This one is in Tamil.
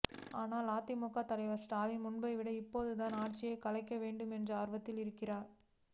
ஆனால் திமுக தலைவர் ஸ்டாலின் முன்பை விட இப்போதுதான் ஆட்சியை கலைக்க வேண்டும் என்ற ஆர்வத்தில் இருக்கிறார்